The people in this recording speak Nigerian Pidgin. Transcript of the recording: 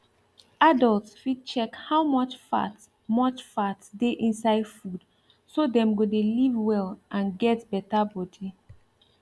adult fit check how much fat much fat dey inside food so dem go de live well and get better body